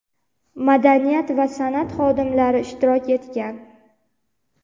madaniyat va san’at xodimlari ishtirok etgan.